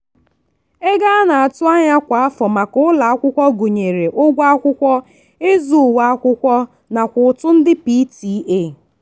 ego a na-atụ anya kwa afọ maka ụlọakwụkwọ gụnyere ụgwọ akwụkwọ ịzụ uwe akwụkwọ akwụkwọ nakwa ụtụ ndị pta.